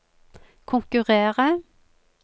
konkurrere